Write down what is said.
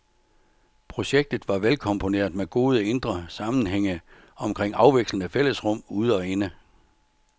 Projektet var velkomponeret med gode indre sammenhænge omkring afvekslende fællesrum ude og inde.